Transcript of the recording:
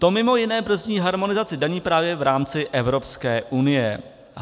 To mimo jiné brzdí harmonizaci daní právě v rámci Evropské unie.